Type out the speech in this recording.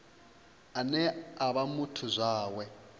ane a vha muthu zwawe